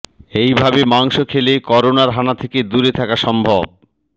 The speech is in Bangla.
এই ভাবে মাংস খেলে করোনার হানা থেকে দূরে থাকা সম্ভব